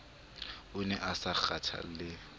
o ne a sa kgathalle